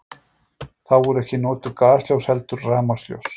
Þá voru ekki notuð gasljós heldur rafmagnsljós.